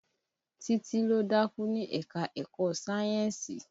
Títí ló dákú ní ẹ̀ka-ẹ̀kọ sayẹ́nsì